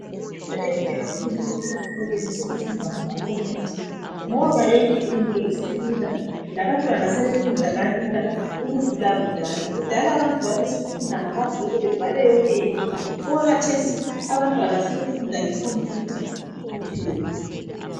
Kuyinto enhle kakhulu ukuthi esikolweni sokufundwa ngama computer ngoba yonke into isilula labantwana sebefunda kalula ukudlula kudala. Kudala abantu babefunda ngamabhuku bebhale yonke into, okwakathesi abantwana sebefunda nge computer kuphela.